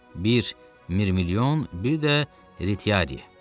Bir Mirmilyon, bir də Retiari.